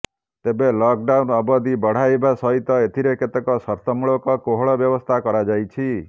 ତେବେ lockdown ଅବଧି ବଢାଇବା ସହିତ ଏଥିରେ କେତେକ ସର୍ତ୍ତମୂଳକ କୋହଳ ବ୍ୟବସ୍ଥା କରାଯାଇଛି